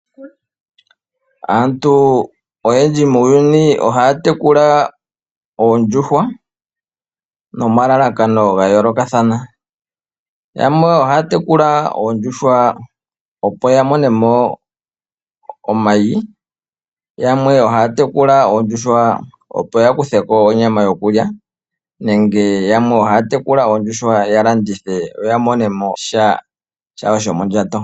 Aantu oyendji muuyuni ohaya tekula oondjuhwa nomalalakano ga yoolokathana, yamwe ohaya tekula oondjuhwa opo ya mone mo omayi, yamwe ohaya tekula oondjuhwa opo ya kuthe ko onyama yokulya nenge yamwe ohaya tekula oondjuhwa ya landithe ya mone mo sha shawo shomondjato.